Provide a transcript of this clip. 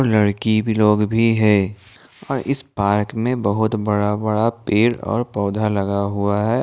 लडकी भी लोग भी है और इस पार्क में बहुत बड़ा बड़ा पेड़ पौधे लगा हुआ है।